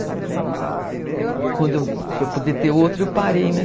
Para poder poder ter outro eu parei, né?